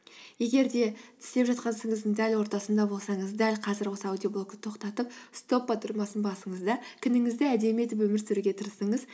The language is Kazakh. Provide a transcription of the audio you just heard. егер де істеп жатқан ісіңіздің дәл ортасында болсаңыз дәл қазір осы аудиоблогты тоқтатып стоп батырмасын басыңыз да күніңізді әдемі етіп өмір сүруге тырысыңыз